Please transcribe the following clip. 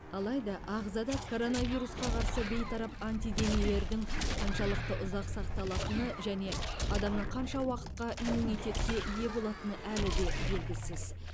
алайда ағзада коронавирусқа қарсы бейтарап антиденелердің қаншалықты ұзақ сақталатыны және адамның қанша уақытқа иммунитетке ие болатыны әлі де белгісіз